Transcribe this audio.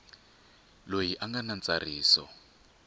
loyi a nga na ntsariso